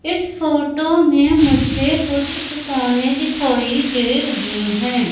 इस फोटो में मुझे कुछ दुकाने दिखाई दे रही है।